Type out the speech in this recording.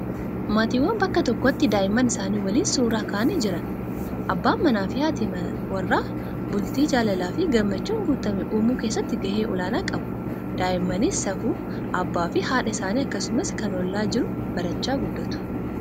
Maatiiwwan bakka tokkotti daa'imman isaanii waliin suuraa ka'anii jiran. Abbaan manaa fi haati warraa bultii jaalalaa fi gammachuun guutame uumuu keessatti gahee olaanaa qabu. Daa'immanis safuu abbaa fi haadha isaanii akkasumas kan ollaa jiru barachaa guddatu.